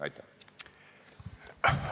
Aitäh!